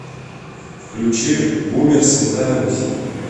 включи бумер святая русь